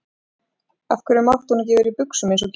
Af hverju mátti hún ekki vera í buxum eins og Gísli?